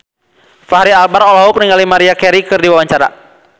Fachri Albar olohok ningali Maria Carey keur diwawancara